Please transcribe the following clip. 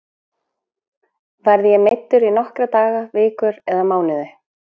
Verð ég meiddur í nokkra daga, vikur eða mánuði?